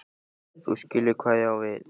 þú skilur hvað ég á við.